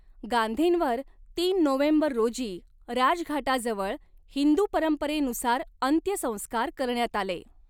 गांधींवर तीन नोव्हेंबर रोजी राजघाटाजवळ हिंदू परंपरेनुसार अंत्यसंस्कार करण्यात आले.